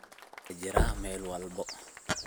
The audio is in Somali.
Dib aya jiraa Mel walbo.